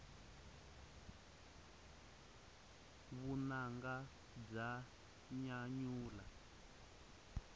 vunanga bya nyanyula